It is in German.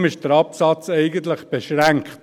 Deshalb ist der Absatz eigentlich beschränkt.